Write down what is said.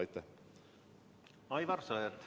Aivar Sõerd, palun!